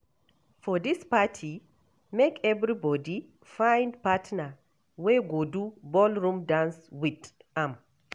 For dis party, make everybodi find partner wey go do ballroom dance wit am.